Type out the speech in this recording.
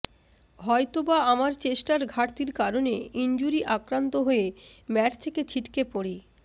হয়তো বা আমার চেষ্টার ঘাটতির কারণে ইনজুরি আক্রান্ত হয়ে ম্যাট থেকে ছিটকে পড়ি